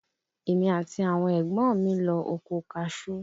Èmi àti àwọn ẹ̀gbọ́n mi lọ oko kaṣú